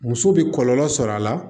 Muso bɛ kɔlɔlɔ sɔrɔ a la